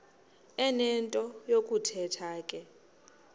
enento yokuthetha ke